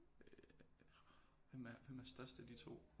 Øh hvem er størst af de to